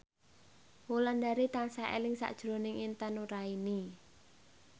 Wulandari tansah eling sakjroning Intan Nuraini